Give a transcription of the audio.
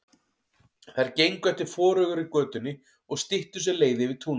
Þær gengu eftir forugri götunni og styttu sér leið yfir túnið.